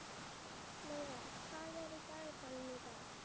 Lauga, hvað er í dagatalinu í dag?